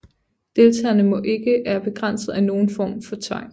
Deltagerne må ikke er begrænset af nogen form for tvang